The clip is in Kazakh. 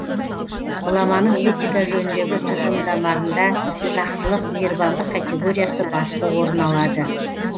ғұламаның этика жөніндегі тұжырымдарында жақсылық мейірбандық категориясы басты орын алады